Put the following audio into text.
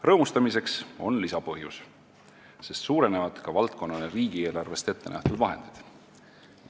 Rõõmustamiseks on lisapõhjus, sest suurenevad ka valdkonnale riigieelarvest ettenähtud vahendid.